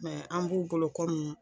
an b'u bolo